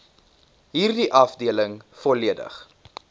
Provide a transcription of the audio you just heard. hierdie afdeling volledig